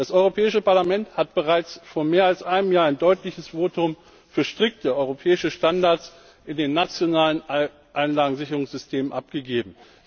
Das Europäische Parlament hat bereits vor mehr als einem Jahr ein deutliches Votum für strikte europäische Standards in den nationalen Einlagensicherungssystemen abgegeben.